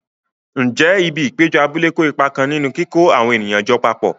Ǹjẹ́ ibi ìpéjọ abúlé kó ipa kan nínú kíkó àwọn ènìyàn jọ papọ̀?